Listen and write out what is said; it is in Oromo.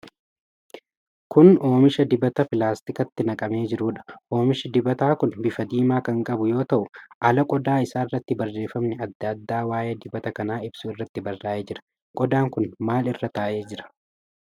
Kun oomisha dibataa pilaastikatti naqamee jiruudha. Oomishi dibataa kun bifa diimaa kan qabu yoo ta'u, ala qodaa isaarratti barreefamni adda addaa waa'ee dibata kanaa ibsu irratti barraa'ee jira. Qodaan kun maal irra taa'ee jira?